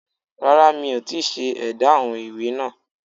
Rárá mi ò tíì ṣe édá àwọn ìwé náà